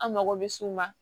An mago bɛ s'u ma